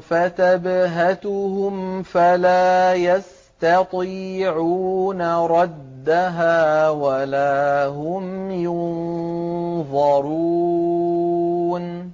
فَتَبْهَتُهُمْ فَلَا يَسْتَطِيعُونَ رَدَّهَا وَلَا هُمْ يُنظَرُونَ